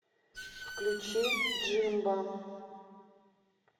включи джимбо